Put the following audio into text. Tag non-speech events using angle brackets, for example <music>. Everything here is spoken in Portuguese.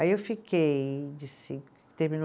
Aí eu fiquei, de <unintelligible> terminou